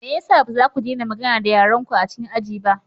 Me ya sa ba za ku daina magana da yarenku a cikin aji ba?